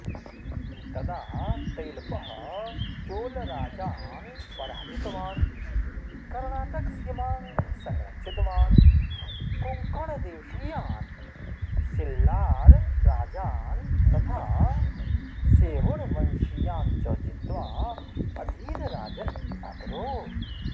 तदा तैलपः चोलराजान् पराजितवान् कर्णाटकसीमां संरक्षितवान् कोङ्कणदेशीयान् सिल्लारराजान् तथा सेवुणवंशीयान् च जित्वा अधीनराजन् अकरोत्